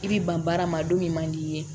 I bi ban baara ma don min man di i ye